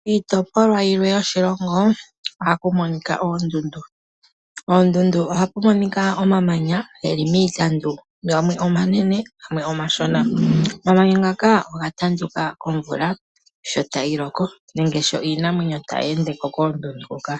Miitopolwa yilwe yoshilongo ohamu monika oondundu. Koondundu ohaku monika omamanya geli miitandu gamwe omanene gamwe omashona. Omamanya ngoka oga tanduka komvula sho tayi loko nenge sho iinamwenyo tayi ende ko koondundu hoka.